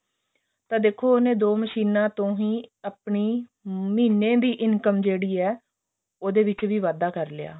ਤਾਂ ਦੇਖੋ ਉਹਨੇ ਦੋ ਮਸੀਨਾ ਤੋਂ ਹੀ ਆਪਣੀ ਮਹੀਨੇ ਦੀ income ਜਿਹੜੀ ਹੈ ਉਹਦੇ ਵਿੱਚ ਦੀ ਵਾਧਾ ਕਰ ਲਿਆ